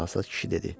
Çalsaz kişi dedi.